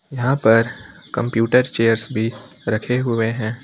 यहां पर computer chairs भी रखे हुए हैं।